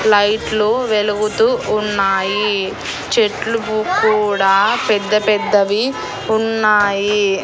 లైట్లు వెలుగుతూ ఉన్నాయి చెట్లు కు కూడా పెద్ద పెద్దవి ఉన్నాయి.